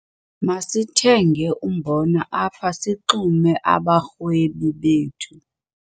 Masithenge umbona apha sixume abarhwebi bethu.